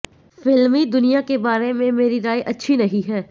फिल्मी दुनिया के बारे में मेरी राय अच्छी नहीं है